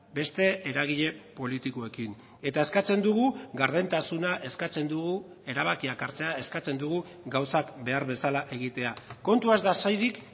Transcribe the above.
beste eragile politikoekin eta eskatzen dugu gardentasuna eskatzen dugu erabakiak hartzea eskatzen dugu gauzak behar bezala egitea kontua ez da soilik